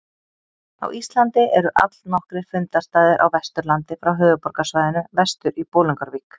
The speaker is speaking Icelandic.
Á Íslandi eru allnokkrir fundarstaðir á Vesturlandi frá höfuðborgarsvæðinu vestur í Bolungarvík.